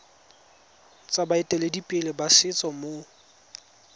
tsa baeteledipele ba setso mo